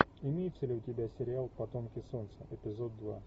имеется ли у тебя сериал потомки солнца эпизод два